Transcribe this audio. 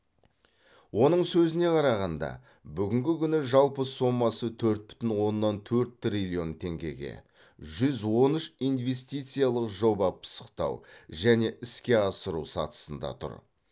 оның сөзіне қарағанда бүгінгі күні жалпы сомасы төрт бүтін оннан төрт триллион теңгеге жүз он үш инвестициялық жоба пысықтау және іске асыру сатысында тұр